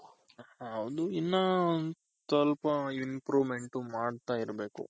ಹೌದು ಇನ್ನ ಸ್ವಲ್ಪ improvement ಮಾಡ್ತಾ ಇರ್ಬೇಕು